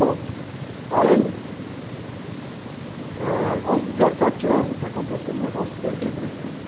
Bom, aí, eh, aos dezessete anos, aconteceu um negócio terrível na minha vida.